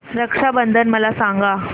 रक्षा बंधन मला सांगा